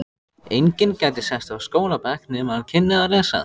Enginn gæti sest á skólabekk nema hann kynni að lesa.